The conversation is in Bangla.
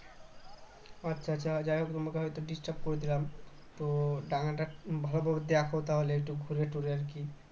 আচ্ছা আচ্ছা যাই হোক তোমাকে হয়তো disturb করে দিলাম তো ডাঙাটা ভালো করে দেখো তাহলে একটু ঘুরে রুটে আর কি